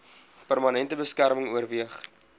permanente beskerming oorweeg